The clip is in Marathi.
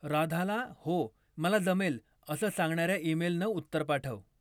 राधाला हो मला जमेल असं सांगणाऱ्या ईमेलनं उत्तर पाठव.